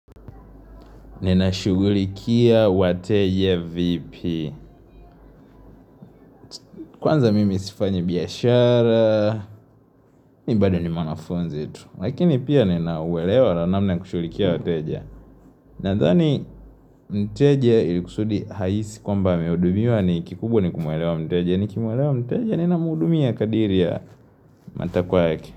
Ninashughulikia wateja vipi Kwanza mimi sifanyi biashara mii bado ni mwanafunzi tu Lakini pia ninauwelewa na namna ya kushughulikia wateja Nadhani mteje ilikusudi hahisi kwa mba amehudumia ni kikubwa ni kumwelewa mteje ni kimwelewa mteja ni na mhudumia kadiri ya matakwa yake.